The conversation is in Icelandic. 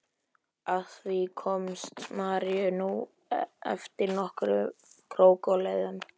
Að því komst María nú eftir nokkrum krókaleiðum.